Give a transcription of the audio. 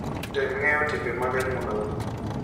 Tem ng'eyo timbe mag anyuolau.